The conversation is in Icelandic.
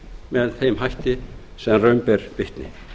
með þeim hætti sem raun ber vitni